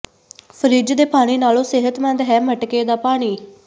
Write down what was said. fridge ਦੇ ਪਾਣੀ ਨਾਲੋਂ ਸਿਹਤਮੰਦ ਹੈ ਮਟਕੇ ਦਾ ਪਾਣੀ